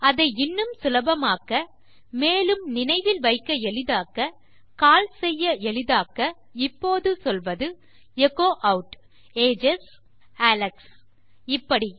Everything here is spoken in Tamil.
அதை இன்னும் சுலபமாக்க மேலும் நினைவில் வைக்க எளிதாக்க கால் செய்ய எளிதாக்க இப்போது சொல்வது எச்சோ ஆட் ஏஜஸ் அலெக்ஸ் இப்படி